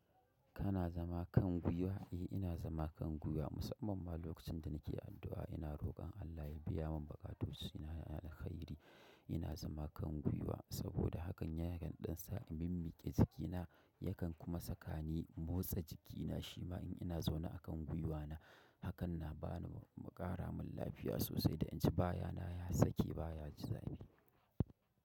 Kana zama kan gwiwa? Eh ina zama kan gwiwa, musamman ma lokacin da nake addu'a ina roƙon Allah ya biya mun bakatusu ina da alkhairi. Ina zama kan gwiwa saboda hakan yakan ɗan sa in mimmiƙe jikina, yakan kuma saka ni motsa jikina shima in ina zaune a kan gwiwana. Hakan na ba ni makara mun lafiya sosai da in ji baya na ya sake baya jizaimi.